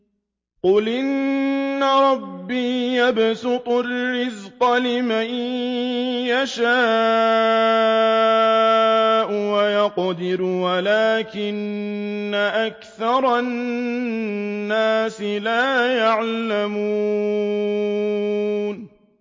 قُلْ إِنَّ رَبِّي يَبْسُطُ الرِّزْقَ لِمَن يَشَاءُ وَيَقْدِرُ وَلَٰكِنَّ أَكْثَرَ النَّاسِ لَا يَعْلَمُونَ